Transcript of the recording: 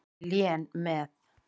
Lén með.